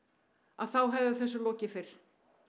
þá hefði þessu lokið fyrr